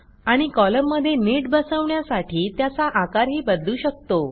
आणि कॉलममध्ये नीट बसवण्यासाठी त्याचा आकारही बदलू शकतो